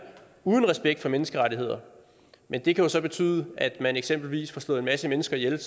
uden respekt for menneskerettigheder men det kan jo så betyde at man eksempelvis får slået en masse mennesker ihjel